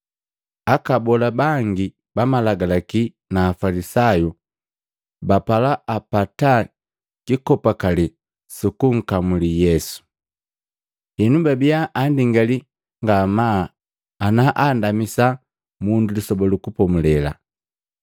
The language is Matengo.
Aka abola bangi Malagalaki na Afalisayu bapala apata kikopakale sukunkamuli Yesu. Henu babia andingali ngamaa ana andamisa mundu Lisoba lu Kupomulela.